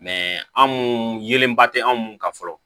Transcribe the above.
anw yelenba tɛ anw kan fɔlɔ